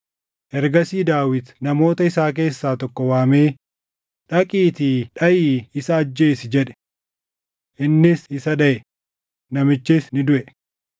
Ergasii Daawit namoota isaa keessaa tokko waamee, “Dhaqiitii dhaʼii isa ajjeesi!” jedhe. Innis isa dhaʼe; namichis ni duʼe.